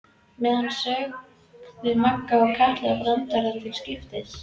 meðan sögðu Magga og Kata brandara til skiptis.